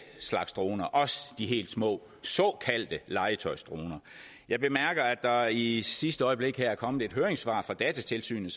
slags droner også de helt små såkaldte legetøjsdroner jeg bemærker at der i i sidste øjeblik er kommet et høringssvar fra datatilsynet